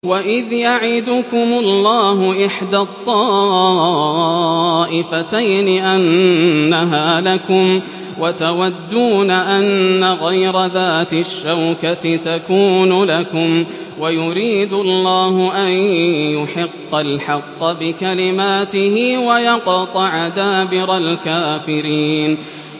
وَإِذْ يَعِدُكُمُ اللَّهُ إِحْدَى الطَّائِفَتَيْنِ أَنَّهَا لَكُمْ وَتَوَدُّونَ أَنَّ غَيْرَ ذَاتِ الشَّوْكَةِ تَكُونُ لَكُمْ وَيُرِيدُ اللَّهُ أَن يُحِقَّ الْحَقَّ بِكَلِمَاتِهِ وَيَقْطَعَ دَابِرَ الْكَافِرِينَ